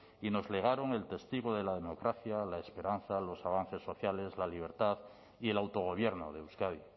y nos legaron el testigo de la democracia la esperanza los avances sociales la libertad y el autogobierno de euskadi